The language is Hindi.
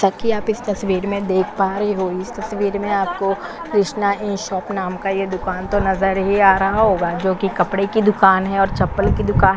ताकि आप इस तस्बीर मे देख पा रहे हो इस तस्बीर में आपको कृष्णा इ शॉप नाम का ये दुकान तो नजर ही आ रहा होगा जोकि की कपडे की दुकान है और चप्पल की दुकान--